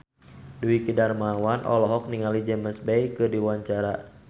Dwiki Darmawan olohok ningali James Bay keur diwawancara